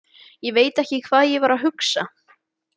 Ég veit ekki hvað ég var að hugsa.